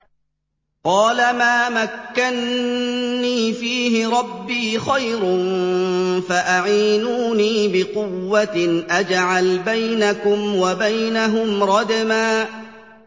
قَالَ مَا مَكَّنِّي فِيهِ رَبِّي خَيْرٌ فَأَعِينُونِي بِقُوَّةٍ أَجْعَلْ بَيْنَكُمْ وَبَيْنَهُمْ رَدْمًا